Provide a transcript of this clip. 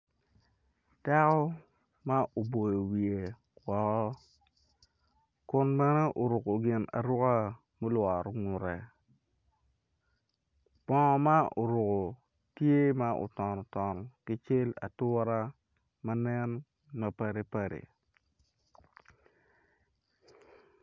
Dako ma oboyo wiye woko kun bene oruko gin aruka mulworo ngute bongo ma oruko tye ma oton oton ki cel ature ma nen ma padi padi.